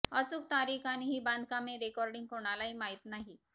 अचूक तारीख आणि ही बांधकामे रेकॉर्डिंग कोणालाही माहीत नाही